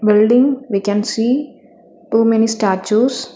Building we can see too many statues.